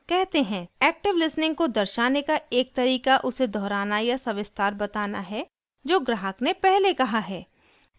active listening को दर्शाने का एक तरीका उसे दोहराना या सविस्तार बताना है जो ग्राहक ने पहले कहा है